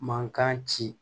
Mankan ci